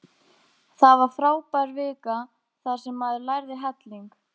Það var frábær vika þar sem maður lærði helling.